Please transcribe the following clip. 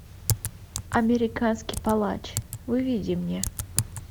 американский палач выведи мне